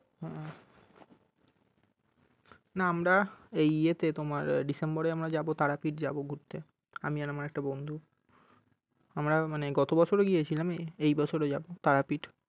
হম না আমরা এই ইয়েতে তোমার december এ আমরা যাবো তো তারাপীঠ যাবো ঘুরতে আমি আর আমার একটা বন্ধু আমরা মানে গত বছর ও গিয়েছিলাম এই বছরও যাবো তারাপীঠ।